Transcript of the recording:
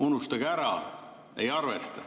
Unustage ära, ei arvesta.